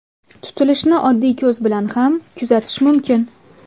Tutilishni oddiy ko‘z bilan ham kuzatish mumkin.